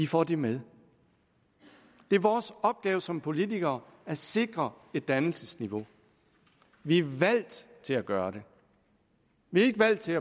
får det med det er vores opgave som politikere at sikre et dannelsesniveau vi er valgt til at gøre det vi er ikke valgt til